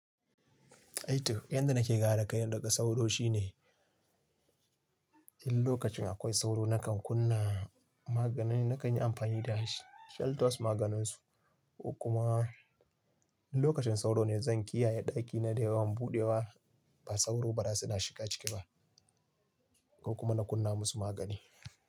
A toh, yadda nake kare kaina daga sauro shine in lokacin akwai sauro nakan kunna magani na kan yi amfani da shi. Shantos maganinsu. Kuma in lokacin sauro ne zan kiyaye ɗakina da yawan buɗewa, ba sauro ba za su na shiga ciki ba. Ko kuma na kunna musu magani.